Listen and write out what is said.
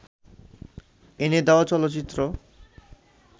এনে দেওয়া চলচ্চিত্র